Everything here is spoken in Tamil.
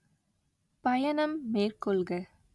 பயணம் மேற்கொள்க